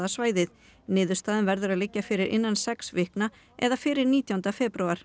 svæðið niðurstaðan verður að liggja fyrir innan sex vikna eða fyrir nítjánda febrúar